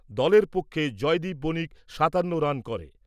দলের পক্ষে জয়দীপ বণিক সাতান্ন রান করে।